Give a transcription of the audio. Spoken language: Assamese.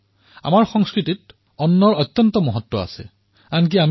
আমাৰ সংস্কৃতিত অন্নৰ ভূমিকা অধিক